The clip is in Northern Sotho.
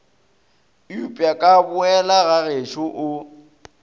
upša ka boela gagešo o